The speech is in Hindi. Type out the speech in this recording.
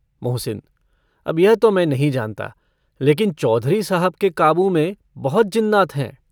मोहसिन - अब यह तो मैं नहीं जानता, लेकिन चौधरी साहब के काबू में बहुत जिन्नात हैं।